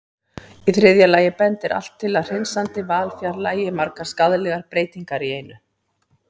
Í þriðja lagi bendir allt til að hreinsandi val fjarlægi margar skaðlegar breytingar í einu.